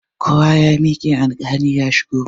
Kowa ya miƙe, alkali ya shigo!